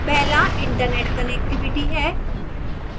पहला internet connectivity है